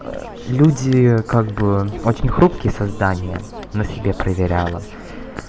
аа люди как бы очень хрупкие создания на себя проверяла